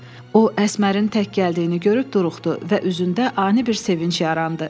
O, Əsmərin tək gəldiyini görüb duruxdu və üzündə ani bir sevinc yarandı.